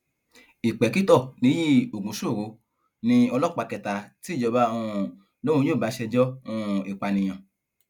ìpèkìtò níyí ògúnṣòro ní ọlọpàá kẹta tí ìjọba um lòun yóò bá ṣèjọ um ìpànìyàn